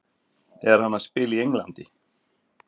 Er hann að spila í Englandi?